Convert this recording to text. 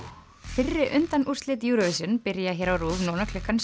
fyrri undanúrslit Eurovision byrja á RÚV núna klukkan